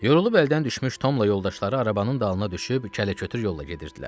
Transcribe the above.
Yorulub əldən düşmüş Tomla yoldaşları arabanın dalına düşüb kələ-kötür yolla gedirdilər.